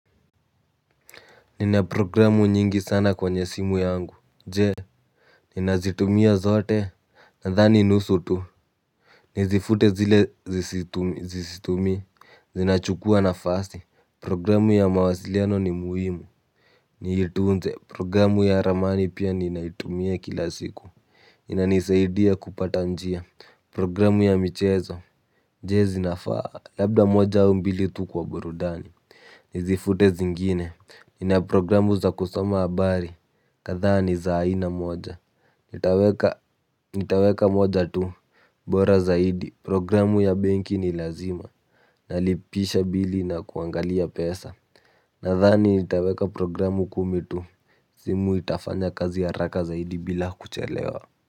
Nina programu nyingi sana kwenye simu yangu. Je, nina zitumia zote. Nadhani nusu tu. Nizifute zile sizitumii. Zinachukua nafasi. Programu ya mawasiliano ni muhimu. Niitunze, programu ya ramani pia ninaitumia kila siku inanisaidia kupata njia. Programu ya michezo jee zinafaa labda moja u mbili tu kwa burudani. Nizifute zingine. Nina programu za kusoma habari. Kadhaa ni za aina moja. Nitaweka moja tu. Bora zaidi programu ya benki ni lazima. Nalipisha bili na kuangalia pesa. Nathani nitaweka programu kumi tu. Zimu itafanya kazi ya haraka zaidi bila kuchelewa.